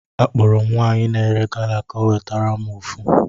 Akpọrọ m nwaanyị na-ere gala ka o wetere m ofu